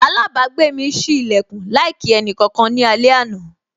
Alabagbe mi sí lekun láì kí ẹnì kankan ní alẹ àná.